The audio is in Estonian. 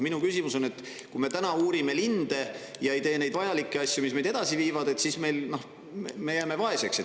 Minu küsimus on selle kohta, et kui me uurime linde ja ei tee neid vajalikke asju, mis meid edasi viivad, siis me jääme vaeseks.